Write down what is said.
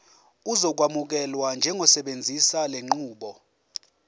uzokwamukelwa njengosebenzisa lenqubo